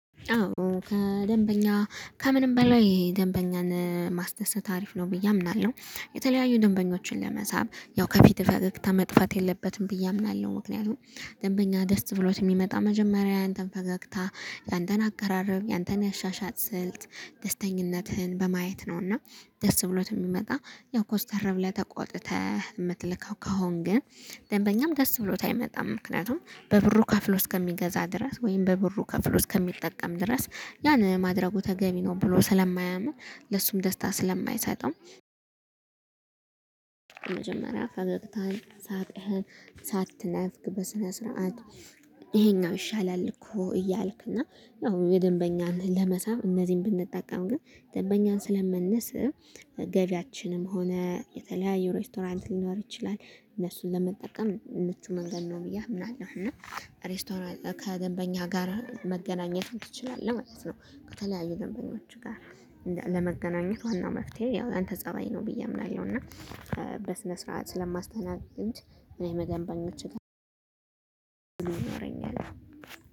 አዎ ከደንበኛ ከምንም በላይ ደንበኛን ማስደሰት አሪፍ ነው ብዬ አምናለሁ የተለያዩ ደንበኞችን ለመሳብ ያው ከፊት ፈገግታ መጥፋት የለበትም ብዬ አምናለሁ። ምክንያቱም ደንበኛ ደስ ብሎት ሚመጣ መጀመሪያ ያንተን ፈገግታ ያንተን አቀራረብ ያንተን ያሻሻጥ ስልት ደስተኝነትህን በማየት ነው። እና ደስ ብሎት የሚመጣ ያው ኮስተር ብለህ ተቆጥተህ ምትልከው ከሆን ግን ደንበኛም ደስ ብሎት አይመጣም። ምክንያቱም በብሩ ከፍሎ እስከሚገዛ ድረስ ወይም በብሩ ከፍሎ እስከሚጠቀም ድረስ ያን ማድረጉ ተገቢ ነው ብሎ ስለማያምን ለሱም ደስታ ስለማይሰጠው። ፈገግታን ሳቅህ ሳትነፍግ በስነ ስርዓት። ይሄኛው ይሻላል እኮ እያልክ እና ያው የደንበኛን ለመሳብ እነዚህን ብንጠቀም ግን ደንበኛን ስለምንነስ ገቢያችንም ሆነ የተለያዩ ሬስቶራንት ሊኖር ይችላል እነሱን ለመጠቀም ምቹ መንገድ ነው ብዬ አምናለሁ። እና ሬስቶራንት ከገንበኛ ጋር መገናኘት ምት ትችላለህ ማለት ነው። ከተለያዩ ገንበኞች ጋር ለመገናኘት ዋናው መፍትሄ ያው ያንተ ፀባይ ነው ብዬ አምናለሁ። እና በስነ ስርዓት ስለማስተናገድ እኔም ደገንበኞች